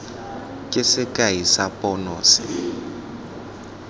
ke sekai sa pono se